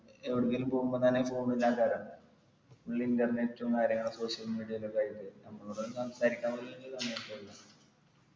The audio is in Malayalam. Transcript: ഏർ ഒന്നുകിൽ പോകുമ്പോ തന്നെ full internet ഉം social media യില് നമ്മളോടൊന്നും സംസാരിക്കാനുള്ള